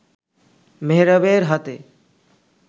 মেহরাবের হাতে